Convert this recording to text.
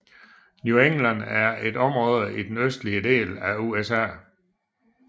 New England er et område i den nordøstlige del af USA